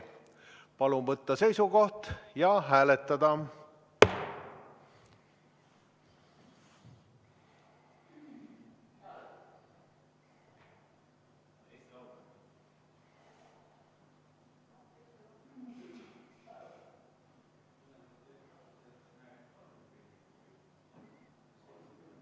Palun võtta seisukoht ja hääletada!